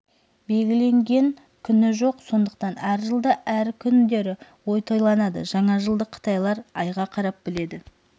белгіленген күні жоқ сондықтан әр жылда әр күндері тойланады жаңа жылды қытайлар айға қарап біледі